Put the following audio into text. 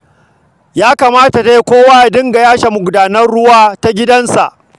Ya kamata dai kowa ya dinga yashe magudanar ruwa ta gidansa